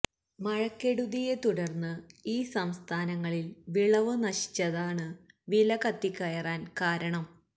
മഴക്കെടുതിയെ തുടർന്ന് ഈ സംസ്ഥാനങ്ങളിൽ വിളവ് നശിച്ചതാണ് വില കത്തിക്കയറാൻ കാരണം